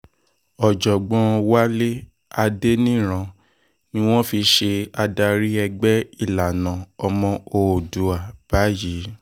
ọ̀jọ̀gbọ́n wálé adẹniran ni wọ́n fi ṣe adarí ẹgbẹ́ ìlànà ọmọ òòdúbá báyìí